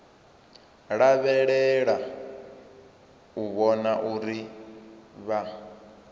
lavhelelwa u vhona uri vha